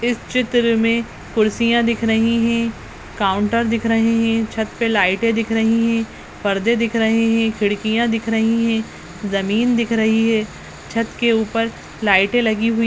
इस चित्र में कुर्सियाँ दिख रही हैं काउन्टर दिख रहे हैं छत पर लाइटें दिख रही हैं परदे दिख रहे हैं खिड़कियां दिख रही हैं जमीन दिख रही है छत के उपर लाइटें लगी हुई --